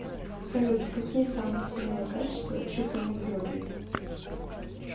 салют какие самые сильные качества чупиной юлии